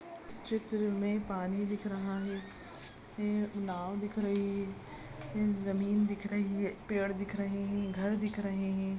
इस चित्र मे पानी दिख रहा है एक नाव दिख रही है एक जमीन दिख रही है पेड़ दिख रहे है घर दिख रहे है।